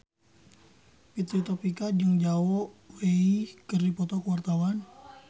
Fitri Tropika jeung Zhao Wei keur dipoto ku wartawan